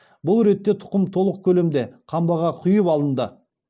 бұл ретте тұқым толық көлемде қамбаға құйып алынды